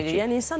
Bəli, əlbəttə ki.